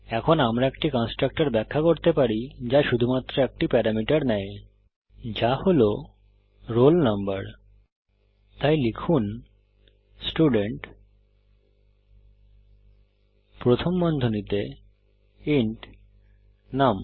এখন আমরা একটি কন্সট্রাকটর ব্যাখ্যা করতে পারি যা শুধুমাত্র একটি প্যারামিটার নেয় যা হল রোল নাম্বার তাই লিখুন স্টুডেন্ট প্রথম বন্ধনীতে ইন্ট নুম